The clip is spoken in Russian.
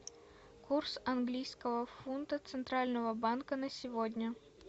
курс английского фунта центрального банка на сегодня